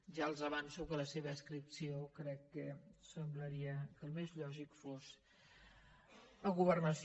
ja els avanço que la seva adscripció crec que semblaria que el més lògic fos a governació